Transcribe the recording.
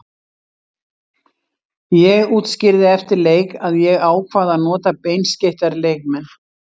Ég útskýrði eftir leik að ég ákvað að nota beinskeyttari leikmenn.